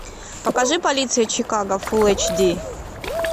покажи полиция чикаго фул эйч ди